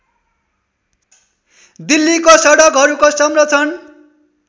दिल्लीको सडकहरूको संरक्षण